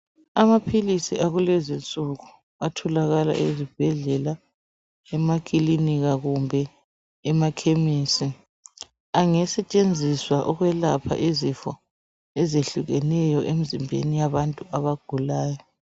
Amaphilizi akulezi insuku atholakala ezibhedlela emaklinika kumbe emakhemisi angasetshenziswa ukwelapha izifo ezehlukeneyo emzimbeni yabantu abagulayo